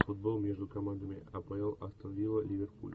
футбол между командами апл астон вилла ливерпуль